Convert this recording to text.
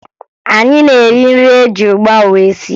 Anyị na-eri nri eji ụgba wee sie